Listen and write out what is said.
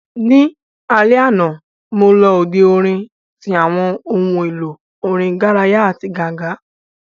Ní alẹ́ àná, mo lọ òde orin tí àwọn ohun èlò orin garaya àti ganga